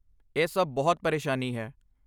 ਇਹ ਸਭ ਬਹੁਤ ਪਰੇਸ਼ਾਨੀ ਹੈ।